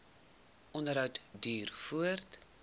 onderhou duur voort